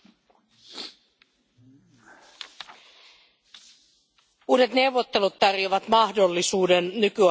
Uudet neuvottelut tarjoavat mahdollisuuden nykyaikaistaa EUn ja AKT valtioiden välistä kumppanuutta.